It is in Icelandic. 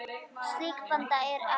Slík blanda er afleit.